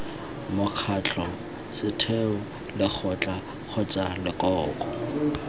mokgatlho setheo lekgotla kgotsa lekoko